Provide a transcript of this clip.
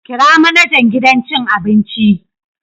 Kira manajan gidan cin abin.